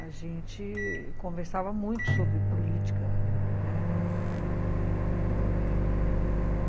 A gente conversava muito sobre política, né... E...